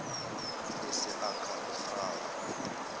ese akha igrafu